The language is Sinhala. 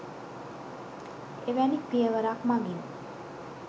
එවැනි පියවරක් මගින්